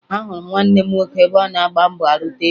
Ahụrụ m nwanne m nwoke ebe ọ na-agba mbọ arụta ego